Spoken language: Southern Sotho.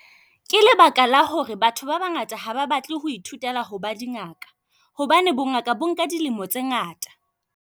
Ke lebaka la hore batho ba bangata ha ba batle ho ithutela ho ba di ngaka hobane bongaka bo nka dilemo tse ngata.